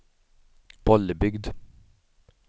Bollebygd